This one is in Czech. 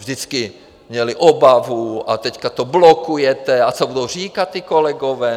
Vždycky měli obavu, a teďka to blokujete a co budou říkat ti kolegové...?